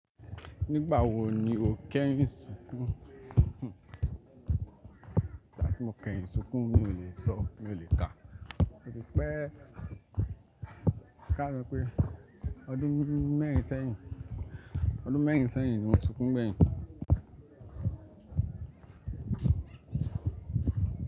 Nígbà wo ni o kẹ́yìn sunkún? Igbàti mo kẹ́yìn sunkún mi ò lè sọ, mi o lè kà. Ó ti pẹ́e, ká kanso pé ọdún mẹ́rin sẹ́yìn, ọdún mẹ́rin sẹ́yìn ni mo sunkún gbẹ́yìn.